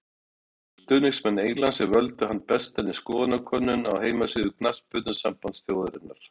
Það voru stuðningsmenn Englands sem völdu hann bestan í skoðanakönnun á heimasíðu knattspyrnusambands þjóðarinnar.